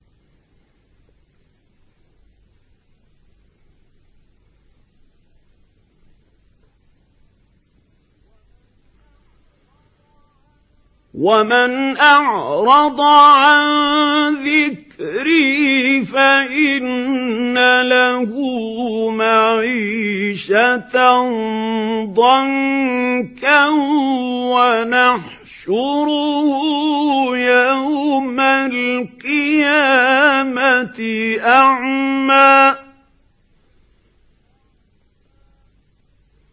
وَمَنْ أَعْرَضَ عَن ذِكْرِي فَإِنَّ لَهُ مَعِيشَةً ضَنكًا وَنَحْشُرُهُ يَوْمَ الْقِيَامَةِ أَعْمَىٰ